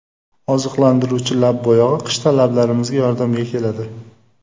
Oziqlantiruvchi lab bo‘yog‘i qishda lablarimizga yordamga keladi.